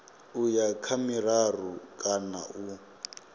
uya kha miraru kana u